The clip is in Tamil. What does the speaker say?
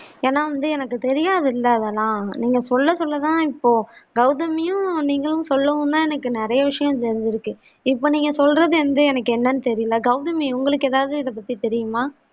ஏன்னா வந்து எனக்கு தெரியாதுள்ள அதெல்லாம் நீங்க சொல்ல சொல்ல தான் இப்போ கவுதமியும் நீங்களும் சொல்லாம்தான் எனக்கு நெறைய விஷயம் தெரிஞ்சிருக்கு இப்ப நீங்க சொல்றது வந்து எனக்கு என்னனு தெரில கவுதமி உங்களுக்கு எதாவது இத பத்தி தெரியுமா